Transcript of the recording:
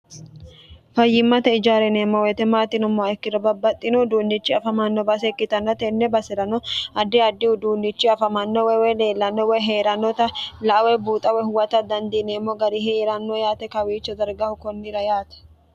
fayyimmate ijaar yineemmo woyite maati yinommoha ikkiro babbaxxino uduunnichi afamanno baase ikkitanno tenne basi'rano addi addihu uduunnichi afamano woy leellanno woy hee'rannota la"a woy buuxa woy huwata dandiineemmo gari heeranno yaate kawiicho dargaho konnira yaate